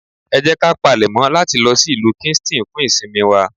Ẹ jẹ́ ká palèmọ́ láti lọ sí ìlú Kingston fún ìsinmi wa.